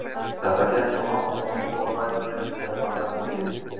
Þetta gekk svo langt að hún fór að bæta við: Ef hann er þá til.